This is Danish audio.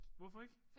Hvorfor ikke?